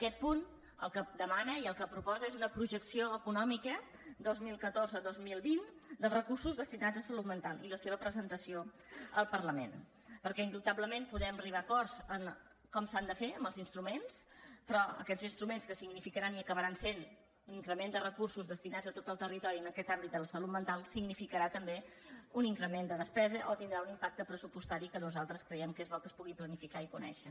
aquest punt el que demana i el que proposa és una projecció econòmica dos mil catorze dos mil vint dels recursos destinats a salut mental i la seva presentació al parlament perquè indubtablement podem arribar a acords en com s’han de fer els instruments però aquests instruments que significaran i acabaran sent un increment de recursos destinats a tot el territori en aquest àmbit de la salut mental significaran també un increment de despesa o tindran un impacte pressupostari que nosaltres creiem que és bo que es pugui planificar i conèixer